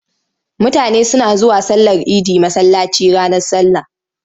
Mutane suna zuwa sallar idi masallaci ranar sallah.